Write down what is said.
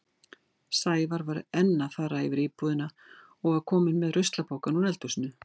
Sævar var enn að fara yfir íbúðina og var kominn með ruslapokann úr eldhúsinu.